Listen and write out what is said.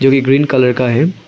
Tree green colour का है।